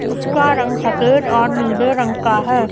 उसका रंग सफेद और नीले रंग का है।